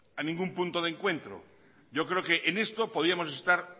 a ningún punto de encuentro yo creo que en esto podíamos estar